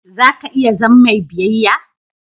Za ka iya zam mai biyayya?